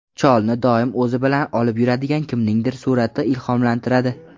Cholni doim o‘zi bilan olib yuradigan kimningdir surati ilhomlantiradi.